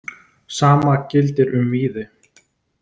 Sama gildir um Víði.